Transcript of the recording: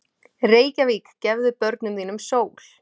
Reykjavík, gefðu börnum þínum sól!